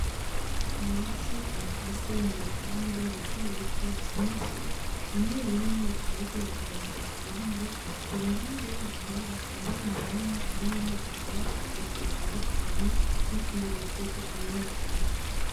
Ibiti bakase mu bipande bitobito vyinshi, bimwe bimwe bikaba bigerekeranije ku bindi. Iruhande yaho hakaba hari umurima urimwo ivyatsi vyinshi bitandukanye n'utundi dushurwe tumwe tumwe.